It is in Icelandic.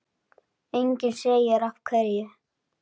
Enginn segir af hverju.